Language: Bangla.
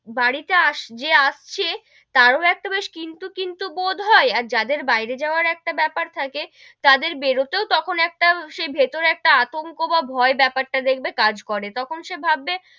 বাড়ি তে যে আসছে তারও একটা বেশ কিন্তু কিন্তু বোধ হয়, আর যাদের বাইরে যাওয়ার একটা বেপার থাকে, তাদের বেরোতেও তখন একটা সেই ভেতরে একটা আতংক বা ভয় বেপার টা দেখবে কাজ করে, তখন সে ভাববে,